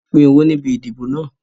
Wọn pin owó níbi ìdìbò náà